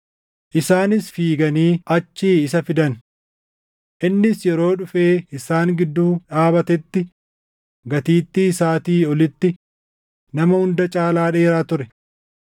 Isaanis fiiganii achii isa fidan. Innis yeroo dhufee isaan gidduu dhaabatetti gatiittii isaatii olitti nama hunda caalaa dheeraa ture.